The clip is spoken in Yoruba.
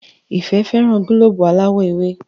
Ìfẹ́ féràn gílóòbù aláwò ewe.